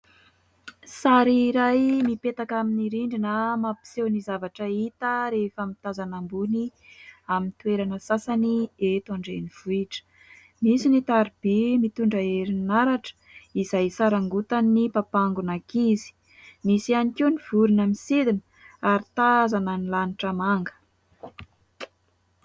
Sary iray mipetaka amin'ny rindrina mampiseho ny zavatra hita rehefa mitazana ambony amin'ny toerana sasany eto an-drenivohitra. Nisy ny tariby mitondra herinaratra izay sarangotan'ny papangon'ankizy. Misy any koa ny vorona misidina ary tazana ny lanitra manga.